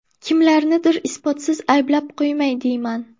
Kimlarnidir isbotsiz ayblab qo‘ymay deyman.